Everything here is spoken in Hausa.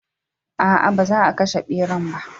A'a, ba za a kashe ɓeran ba.